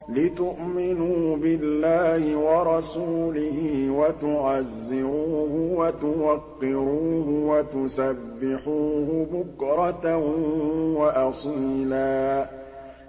لِّتُؤْمِنُوا بِاللَّهِ وَرَسُولِهِ وَتُعَزِّرُوهُ وَتُوَقِّرُوهُ وَتُسَبِّحُوهُ بُكْرَةً وَأَصِيلًا